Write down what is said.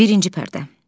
Birinci pərdə.